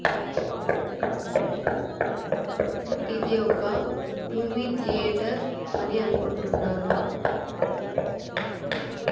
ఇది ఒక movie theatre అని అనుకుంటున్నాను.